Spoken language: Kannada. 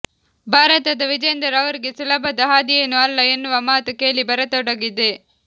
ಭಾರತದ ವಿಜೇಂದರ್ ಅವರಿಗೆ ಸುಲಭದ ಹಾದಿಯೇನು ಅಲ್ಲ ಎನ್ನುವ ಮಾತು ಕೇಳಿ ಬರತೊಡಗಿದೆ